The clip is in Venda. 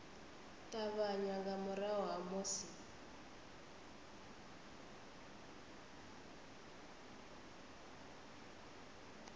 ṱavhanya nga murahu ha musi